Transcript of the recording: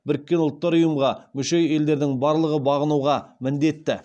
біріккен ұлттар ұйымға мүше елдердің барлығы бағынуға міндетті